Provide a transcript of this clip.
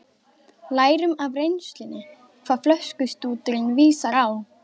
Lærum af reynslunni hvað flöskustúturinn vísar á.